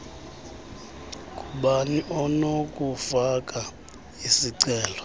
ngubani onokufaka isicelo